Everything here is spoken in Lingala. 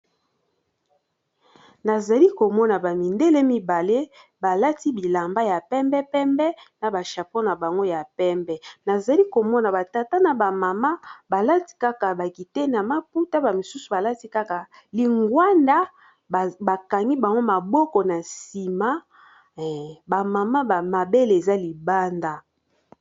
Nazali komona ba mindele mibale balati bilamba ya pembe pembe na ba chapo na bango ya pembe nazali komona ba tata na ba mama balati kaka ba kitendi ya maputa ba mosusu balati kaka lingwanda bakangi bango maboko na nsima ba mama ba mabele eza libanda.